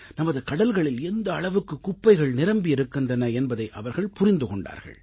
நமது கடல்களில் எந்த அளவுக்குக் குப்பைகள் நிரம்பி இருக்கின்றன என்பதை அவர்கள் புரிந்து கொண்டார்கள்